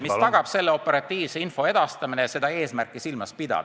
... mis tagab info operatiivse edastamise seda eesmärki silmas pidades.